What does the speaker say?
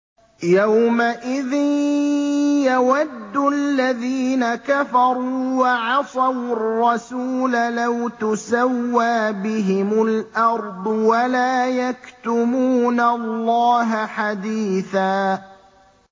يَوْمَئِذٍ يَوَدُّ الَّذِينَ كَفَرُوا وَعَصَوُا الرَّسُولَ لَوْ تُسَوَّىٰ بِهِمُ الْأَرْضُ وَلَا يَكْتُمُونَ اللَّهَ حَدِيثًا